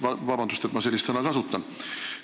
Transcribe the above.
Palun vabandust, et ma sellist sõna kasutan!